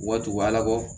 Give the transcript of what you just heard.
U ka tugu ala kɔ